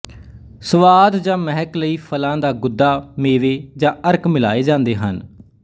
ਸਵਾਦ ਜਾਂ ਮਹਿਕ ਲਈ ਫਲਾਂ ਦਾ ਗੁੱਦਾ ਮੇਵੇ ਜਾਂ ਅਰਕ ਮਿਲਾਏ ਜਾਂਦੇ ਹਨ